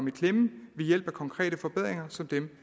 i klemme ved hjælp af konkrete forbedringer som dem